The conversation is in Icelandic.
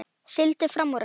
Sigldi fram úr henni.